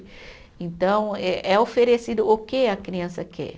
Então, é é oferecido o que a criança quer.